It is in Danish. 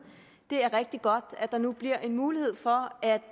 det er rigtig godt at der nu bliver mulighed for at